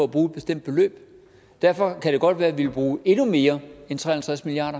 at bruge et bestemt beløb derfor kan det godt være at vi vil bruge endnu mere end tre og halvtreds milliard